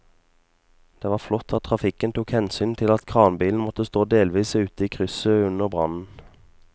Det var flott at trafikken tok hensyn til at kranbilen måtte stå delvis ute i krysset under brannen.